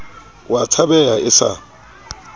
o a tshabeha e sa